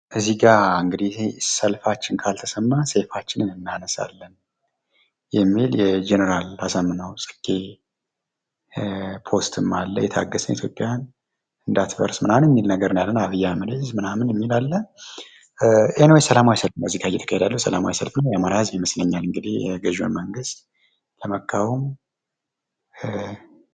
እዚህ ጋ እንግዲህ ሰልፋችን ካልተሰማ ሰይፋችንን እናነሳለን የሚል የጀነራል አሳምነው ፅጌ ፖስትም አለ::ሰላማዊ ሰልፍ ይታየኛል ገዢዉን መንግስት ለመቃወም ::